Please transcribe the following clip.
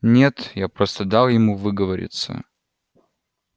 нет я просто дал ему выговориться